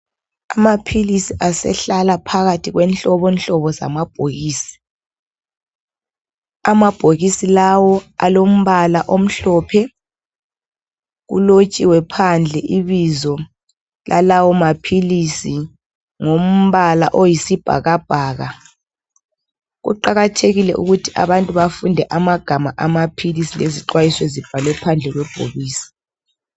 Amaphilisi asehlala phakathi kwenhlobonhlobo zamabhokisi. Amabhokisi lawo alombala omhlophe, kulotshiwe phandle ibizo lalawo maphilisi ngombala oyisibhakabhaka. Kuqakathekile ukuthi abantu bafunde amagama amaphilisi lezixwayiso ezibhalwe phandle kwebhokisi.